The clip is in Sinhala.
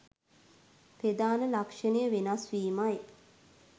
ප්‍රධාන ලක්‍ෂණය වෙනස්වීමයි.